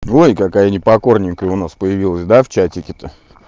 ой какая не покорненькая у нас появилась да в чатике то